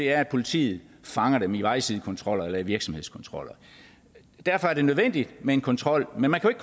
er at politiet fanger dem i vejsidekontroller eller i virksomhedskontroller derfor er det nødvendigt med en kontrol men man kan